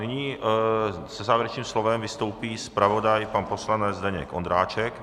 Nyní se závěrečným slovem vystoupí zpravodaj pan poslanec Zdeněk Ondráček.